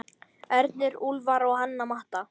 Ernir, Úlfar og Hanna Matta.